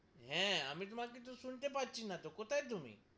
হ্যা, আমি তোমাকে তো শুনতে পাচ্ছি না তো, কোথায় তুমি?